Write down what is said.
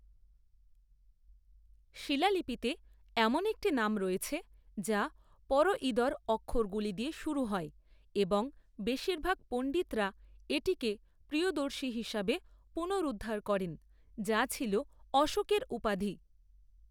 শিলালিপিতে এমন একটি নাম রয়েছে যা পরঈদর অক্ষরগুলি দিয়ে শুরু হয় এবং বেশিরভাগ পণ্ডিতরা এটিকে প্রিয়দর্শী হিসাবে পুনরুদ্ধার করেন, যা ছিল অশোকের উপাধি।